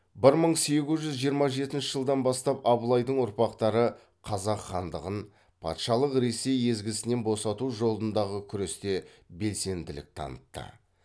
бір мың сегіз жүз жиырма жетінші жылдан бастап абылайдың ұрпақтары қазақ хандығын патшалық ресей езгісінен босату жолындағы күресте белсенділік танытты